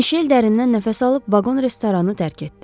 Mişel dərindən nəfəs alıb vaqon-restoranı tərk etdi.